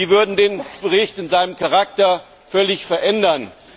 Diese würden den Bericht in seinem Charakter völlig verändern.